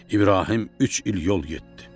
İbrahim üç il yol getdi.